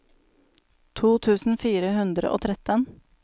to tusen fire hundre og tretten